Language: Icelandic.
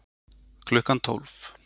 Klukkan tólf